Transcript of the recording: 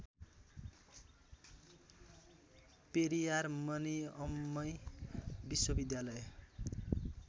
पेरियार मनिअम्मई विश्वविद्यालय